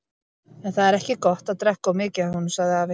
En það er ekki gott að drekka of mikið af honum, sagði afi.